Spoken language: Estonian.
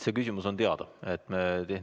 See küsimus on meile teada.